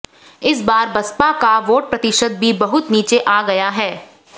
इस बार बसपा का वोट प्रतिशत भी बहुत नीचे आ गया है